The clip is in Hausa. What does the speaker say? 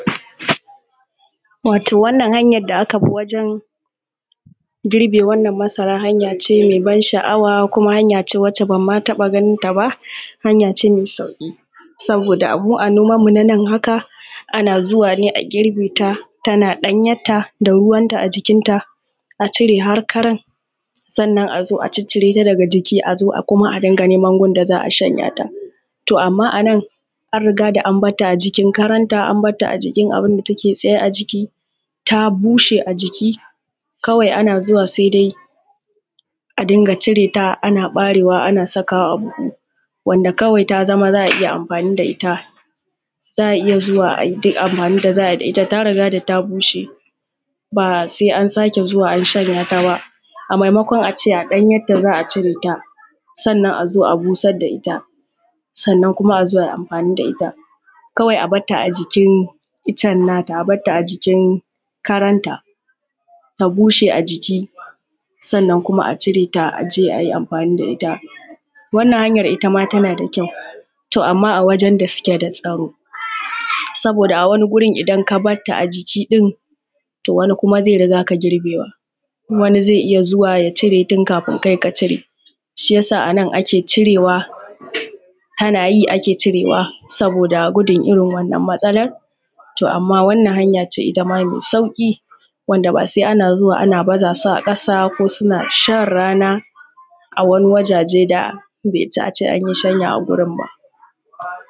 Wato wannan hanyan da aka bi wajen girbe wannan masara hanya ce me ban sha'awa kuma hanya ce wacce ban ma taɓa ganin ta ba hanya ce mai sauƙi. Saboda mu a noman mu na nan haka ana zuwa ne a girbe ta tana ɗanyetta da ruwan ta a jikin ta a cire har karan sannan a zo a ciccire ta daga jiki, a zo kuma a rinƙa neman gun da za'a shanyata. To amma anan an riga an batta a jikin karanta an batta a jikin abunda take tsaye a jiki ta bushe a jiki kawai ana zuwa sai dai a dinga cire ta ana ɓarewa ana sakawa a buhu, wanda kawai ta zama za'a iya amfani da ita za'a iya zuwa ayi duk amfanin da za'ayi da ita ta riga da ta bushe ba sai an sake zuwa an shanya ta ba a maimakon a ce a danyetta za'a cire ta sannan a zo a busar da ita sannan kuma a zo ayi amfani da ita. Kawai a bata a jikin iccen nata a batta a jikin karan ta ta bushe a jiki sannan kuma a cire ta a je ayi amfani da ita, wannan hanyar ita ma tana da kyau. To amma a wajen da suke da tsaro saboda a wani gurin idan ka batta a jiki ɗin to wani zai riga ka girbewa, wani zai iya zuwa ya cire tun kafin kai ka cire shiyasa a nan ake cirewa tana yin ake cirewa saboda gudun irin wannan matsalar, to amma wannan hanya ce ita ma mai sauƙi wanda ba sai ana zuwa ana baza su a ƙasa ko suna shan rana a wani a wajaje da bai ci a ce anyi shanya a gurin ba.